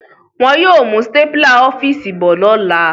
Wọn yóò mú stapler ọ́fíìsì bọ̀ lọ́la